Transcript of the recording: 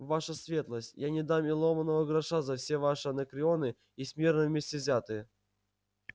ваша светлость я не дам ни ломаного гроша за все ваши анакреоны и смирно вместе взятые